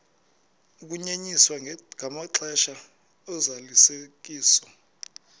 ukunyenyiswa kwamaxesha ozalisekiso